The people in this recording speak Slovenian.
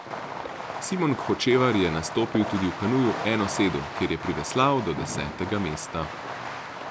Simon Hočevar je nastopil tudi v kanuju enosedu, kjer je priveslal do desetega mesta.